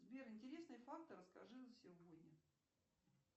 сбер интересные факты расскажи за сегодня